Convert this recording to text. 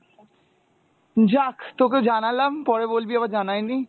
যাক তোকে জানালাম, পরে বলবি আবার জানাইনি।